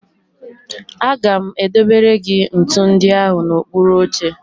Aga m edobere gị ntụ ndị ahụ n'okpuru oche